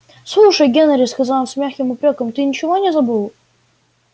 слушай генри сказал он с мягким упрёком ты ничего не забыл